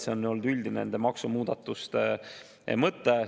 See on olnud üldine maksumuudatuste mõte.